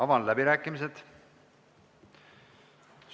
Avan läbirääkimised.